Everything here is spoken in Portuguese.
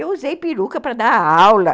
Eu usei peruca para dar aula.